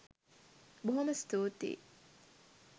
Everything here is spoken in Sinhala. බොහොම ස්තුතියි